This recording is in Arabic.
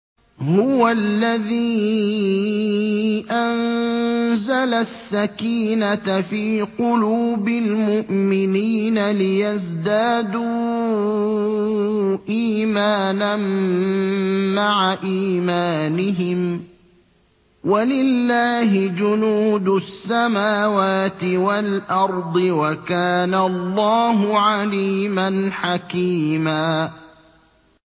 هُوَ الَّذِي أَنزَلَ السَّكِينَةَ فِي قُلُوبِ الْمُؤْمِنِينَ لِيَزْدَادُوا إِيمَانًا مَّعَ إِيمَانِهِمْ ۗ وَلِلَّهِ جُنُودُ السَّمَاوَاتِ وَالْأَرْضِ ۚ وَكَانَ اللَّهُ عَلِيمًا حَكِيمًا